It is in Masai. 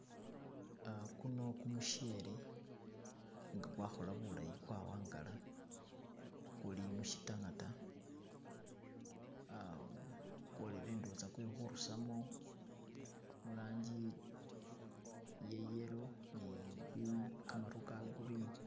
Uh guno gumuchele nga kwa khola bulaayi kwa wangala kuli mushi tangata, uh kwolele ndowoza kwe khurusamo murangi iye yellow ni bi kamaru ga green.